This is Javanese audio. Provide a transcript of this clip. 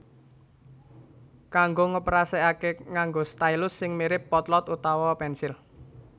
Kanggo ngoperasekake nganggo stylus sing mirip potlot utawa pensil